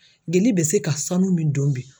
Jeli bɛ se ka sanu min don bi